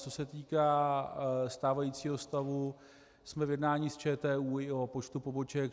Co se týká stávajícího stavu, jsme v jednání s ČTÚ i o počtu poboček.